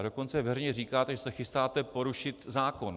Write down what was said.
A dokonce veřejně říkáte, že se chystáte porušit zákon.